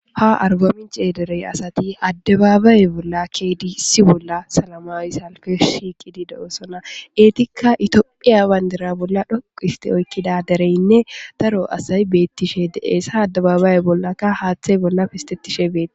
Ha argominchee derey asati addabaabaaye bolla keedissi bolla salamaaws halke shiiqidi de'osona eetikka itophiya wandira bolla dhoq histe oykkida dereynne daro asay beettishe de'essa addababaaye bollakka haaththey bolla pistettishe beeti.